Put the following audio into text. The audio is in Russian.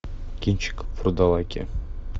кинчик вурдалаки